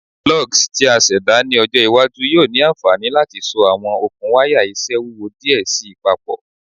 Lugs ti a ṣẹda ni ọjọ iwaju yoo ni anfani lati so awọn okun waya iṣẹ wuwo diẹ sii papọ